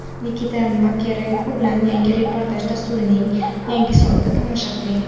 Nikita Makarenko bilan "Yangi reportaj" dasturining yangi sonida tomosha qiling.